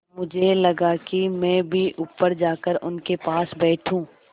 मुझे लगा कि मैं भी ऊपर जाकर उनके पास बैठूँ